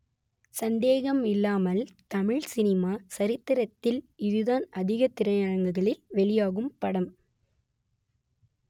சந்தேகம் இல்லாமல் தமிழ் சினிமா ச‌ரித்திரத்தில் இதுதான் அதிக திரையரங்குகளில் வெளியாகும் படம்